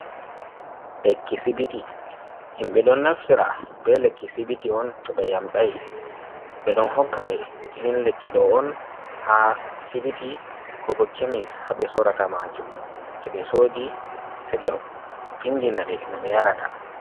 Lekki sibiti, himɓe ɗon naftira be lekki sibiti on to ɓe yamɗai. Be ɗon hokka ɓe irin lekkiɗo on ha sibiti ko bo kemis, haɓe sorata majum toɓe soɗi se ɓe vinɗina ɓe no ɓe yarata.